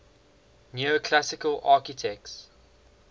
neoclassical architects